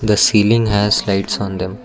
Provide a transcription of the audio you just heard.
the ceiling has lights on them.